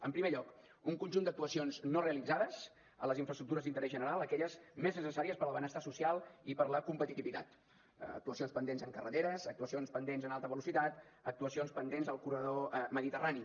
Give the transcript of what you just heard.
en primer lloc un conjunt d’actuacions no realitzades en les infraestructures d’interès general aquelles més necessàries per al benestar social i per a la competitivitat actuacions pendents en carreteres actuacions pendents en alta velocitat actuacions pendents al corredor mediterrani